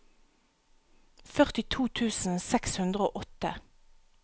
førtito tusen seks hundre og åtte